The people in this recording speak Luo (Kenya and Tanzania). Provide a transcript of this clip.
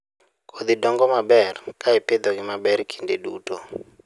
Kodhi dongo maber ka ipidhogi maber kinde duto.